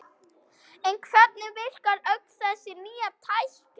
En hvernig virkar öll þessi nýja tækni?